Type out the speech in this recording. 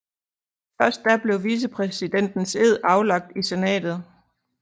Før da blev vicepræsidentens ed aflagt i senatet